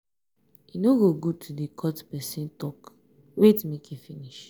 e no good to dey cut pesin tok wait make e finish.